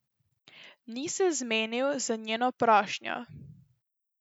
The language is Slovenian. Ni se zmenil za njeno prošnjo.